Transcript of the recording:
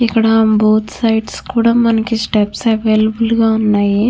ఇక్కడ both sides కూడా మనకి స్టెప్స్ అవైలబుల్ గా ఉన్నాయి.